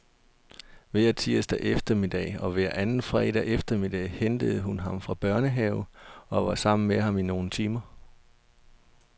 Hver tirsdag eftermiddag og hver anden fredag eftermiddag hentede hun ham fra børnehave og var sammen med ham i nogle timer.